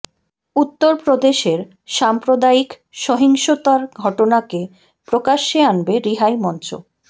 উত্তর প্রদেশের সাম্প্রদায়িক সহিংসতার ঘটনাকে প্রকাশ্যে আনবে রিহাই মঞ্চ